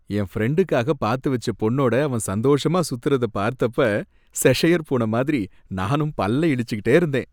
என் ஃப்ரெண்டுக்காக பார்த்து வச்ச பொண்ணோட அவன் சந்தோஷமா சுத்துறத பார்த்தப்ப செஷயர் பூன மாதிரி நானும் பல்ல இளிச்சிக்கிட்டே இருந்தேன்.